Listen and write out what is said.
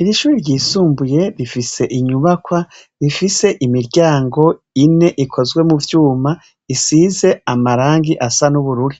Iri shure ryisumbuye rifise inyubakwa rifise imiryango ine ikozwe mu vyuma isize amarangi asa n'ubururu.